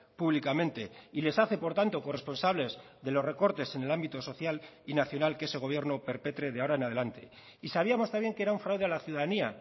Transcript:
públicamente y les hace por tanto corresponsables de los recortes en el ámbito social y nacional que ese gobierno perpetre de ahora en adelante y sabíamos también que era un fraude a la ciudadanía